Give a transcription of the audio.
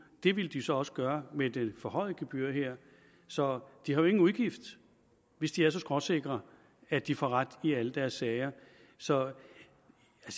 det ville de så også gøre med det forhøjede gebyr her så de har jo ingen udgift hvis de er så skråsikre at de får ret i alle deres sager så